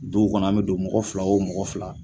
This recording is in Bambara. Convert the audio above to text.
Duw kɔnɔ an be don mɔgɔ fila o mɔgɔ fila